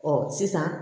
Ɔ sisan